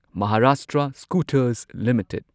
Maharashtra scooters limited